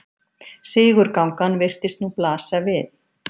Sigurgangan virtist nú blasa við.